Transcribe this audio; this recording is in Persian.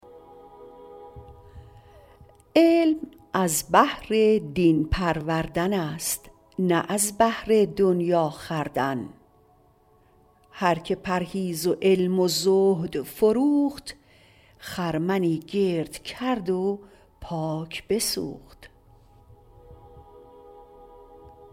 علم از بهر دین پروردن است نه از بهر دنیا خوردن هر که پرهیز و علم و زهد فروخت خرمنی گرد کرد و پاک بسوخت